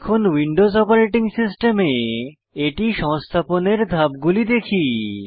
এখন Windows operating সিস্টেমে এটি সংস্থাপনের ধাপগুলি দেখি